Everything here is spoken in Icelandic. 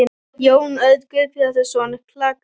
Jón Örn Guðbjartsson: Klaka?